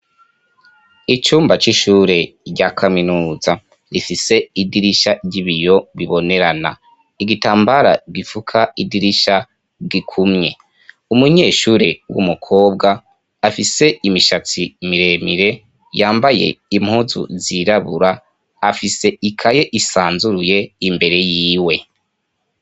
Icumba c'ishure rya kaminuza, rifise idirisha ry'ibiyo bibonerana, igitambara gifuka idirisha gikumye, umunyeshure w'umukobwa afise imishatsi miremire yambaye impuzu zirabura afise ikaye isanzuruye imbere y'iwe.